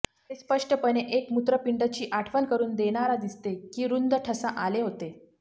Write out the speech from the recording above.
ते स्पष्टपणे एक मूत्रपिंड ची आठवण करून देणारा दिसते की रुंद ठसा आले होते